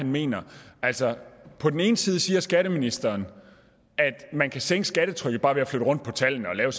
mener altså på den ene side siger skatteministeren at man kan sænke skattetrykket bare ved at flytte rundt på tallene og lave